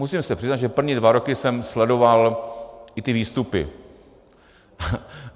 Musím se přiznat, že první dva roky jsem sledoval i ty výstupy.